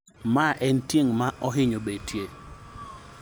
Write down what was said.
ma e otieng' ma ohinyo betie